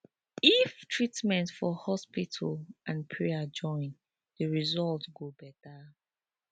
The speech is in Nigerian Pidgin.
if treatment for hospital and prayer join de result go beta